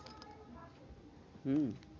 হম